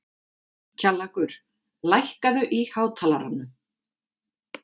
Kjallakur, lækkaðu í hátalaranum.